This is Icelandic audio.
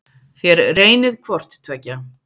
Þér reynið hvort tveggja.